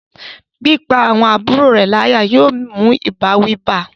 pípá àwọn àbúrò rẹ̀ láyà yóò mú ìbáwí bá a